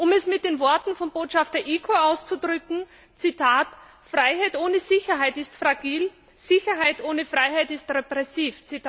Um es mit den Worten von Botschafter Eacho auszudrücken Freiheit ohne Sicherheit ist fragil, Sicherheit ohne Freiheit ist repressiv.